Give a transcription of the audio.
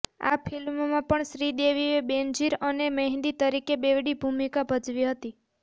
આ ફિલ્મમાં પણ શ્રીદેવીએ બેનઝીર અને મેહંદી તરીકે બેવડી ભૂમિકા ભજવી હતી